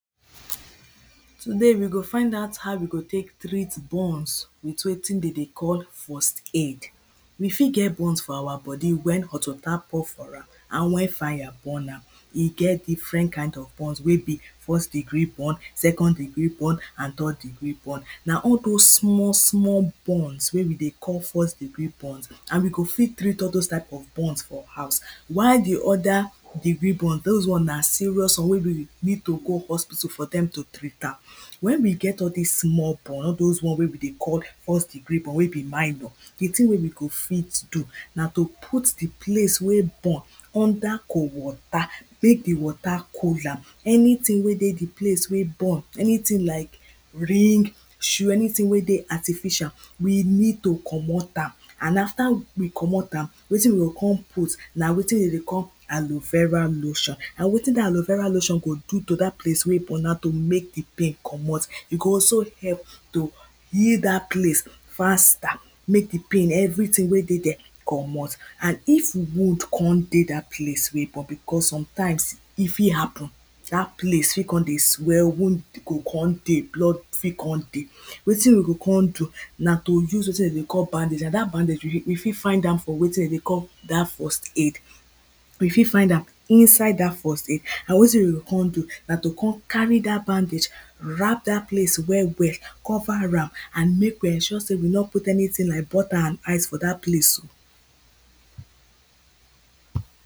Today, we go find out how we go tek treat burns with wetin den dey call first aid. We fit get burns for awa body wen hot water pour for am and wen fire burn am. E get different kinds of burns wey be first degree burn, second degree burn and third degree burn. Na all dose small small burns wey we dey call first degree burns and we go fit treat all dose type of burns for house, while di other degree burn, dose one na serious one wey we, we need to go hospital for dem to treat am. When we get all small burn, all dose one wey we dey call first degree burn, wey be minor. Di thing wey we go fit do na to put di palce wey burn under cold water mek di water cool am, anything wey dey di place wey burn, anything like ring, shoe, anything wey dey artificial, we need to comot am, and after we comot am, wetin we o con put na wetin den dey call aloe vera lotion, and wetin dat aloe vera lotion go do to dat place wey burn na to mek di pain comot, e go also help to heal dat place faster, mek di pain, everything wey dey dere comot and if wound con dey dat place, cos sometimes, e fit happen, dat palce fit con dey swell, wound go con dey, blood fit con dey. Wetin we go con do, na to use wetin den dey call bandage and dat bandage, we fit, we fit find am for wetin dem dey call dat first aid, we fit find am inside dat first aid, wetin we go con do, na to con carry dat bandage, wrap dat place well well, cover am, and mek we ensure sey, we no put anything like butter and ice for dat place so.